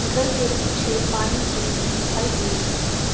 घर के पीछे पाइन ट्री भी दिखाई दे रही है।